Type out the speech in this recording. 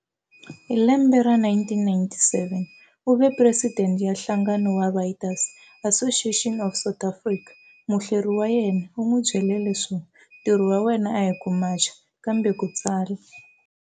Hi lembe ra 1977, u ve presidente ya nhlangano wa Writers' Association of South Africa. Muhleri wa yena, u n'wi byele leswo,"Ntirho wa wena a hi ku macha, kambe ku tsala."